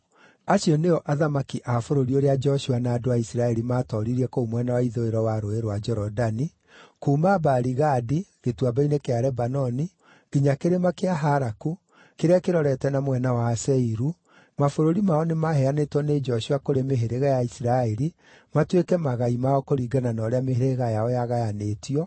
Acio nĩo athamaki a bũrũri ũrĩa Joshua na andũ a Isiraeli maatooririe kũu mwena wa ithũĩro wa Rũũĩ rwa Jorodani, kuuma Baali-Gadi, Gĩtuamba-inĩ kĩa Lebanoni, nginya Kĩrĩma kĩa Halaku, kĩrĩa kĩrorete na mwena wa Seiru (mabũrũri mao nĩmaheanĩtwo nĩ Joshua kũrĩ mĩhĩrĩga ya Isiraeli matuĩke magai mao kũringana na ũrĩa mĩhĩrĩga yao yagayanĩtio,